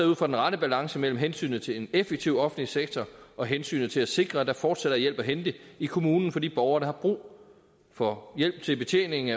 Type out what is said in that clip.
ud fra balancen mellem hensynet til en effektiv offentlig sektor og hensynet til at sikre at der fortsat er hjælp at hente i kommunen for de borgere der har brug for hjælp til betjening